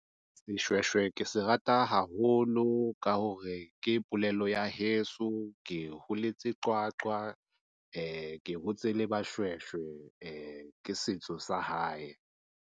Seshweshwe ke se rata haholo ka hore ke polelo ya heso, ke holetse Qwaqwa. Ke hotse le Bashweshwe ee ke setso sa hae.